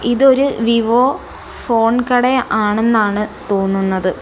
ഇതൊരു Vivo phone കട ആണെന്നാണ് തോന്നുന്നത്.